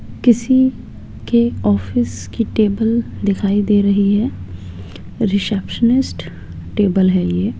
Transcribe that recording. किसी के ऑफिस की टेबल दिखाई दे रही है रिसेप्शनिस्ट टेबल है ये।